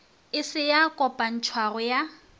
e se ya kopantšhwago ya